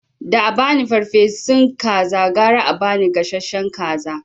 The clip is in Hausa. Da abani farfesun kaza gara a ba ni gasashshen kaza